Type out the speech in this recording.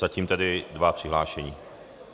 Zatím tedy dva přihlášení.